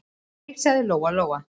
Nei, sagði Lóa-Lóa.